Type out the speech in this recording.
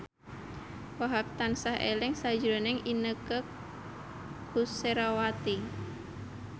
Wahhab tansah eling sakjroning Inneke Koesherawati